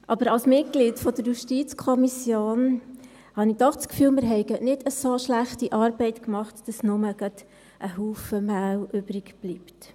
Aber als Mitglied der JuKo habe ich doch das Gefühl: Wir haben keine so schlechte Arbeit geleistet, dass nur noch ein Haufen Mehl übrig bleibt.